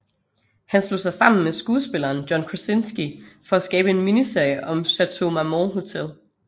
Han slog sig sammen med skuespilleren John Krasinski for at skabe en miniserie om Chateau Marmont Hotel